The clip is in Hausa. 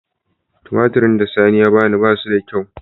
Tumatir da sani ya bani ba su da kyau.